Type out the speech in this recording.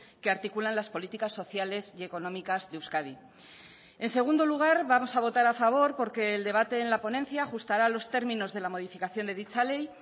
que articulan las políticas sociales y económicas de euskadi en segundo lugar vamos a votar a favor porque el debate en la ponencia ajustará los términos de la modificación de dicha ley